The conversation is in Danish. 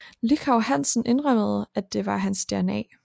Lychau Hansen indrømmede at det var hans DNA